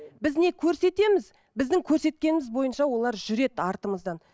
біз не көрсетеміз біздің көрсеткеніміз бойынша олар жүреді артымыздан